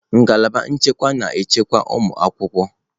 Ngalaba nchekwa na-echekwa ụmụ akwụkwọ.